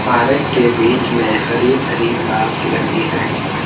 Park के बीच में हरी-भरी घास लगी है।